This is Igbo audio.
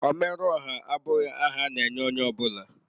Omere ọha abụghị aha a na-enye onye ọ bụla.